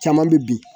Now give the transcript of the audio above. Caman bɛ bin